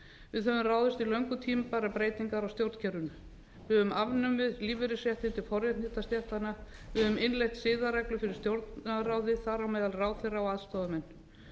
við höfum ráðist í löngu tímabærar breytingar á stjórnkerfinu við höfum afnumið lífeyrisréttindi forréttindastéttanna við höfum innleitt byggðareglu fyrir stjórnarráðið þar á meðal ráðherra og aðstoðarmenn við